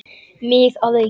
Mig að auki.